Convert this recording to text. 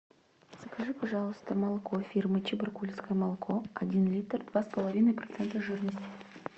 закажи пожалуйста молоко фирмы чебаркульское молоко один литр два с половиной процента жирности